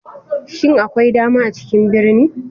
Shin akwai dama a cikin birni?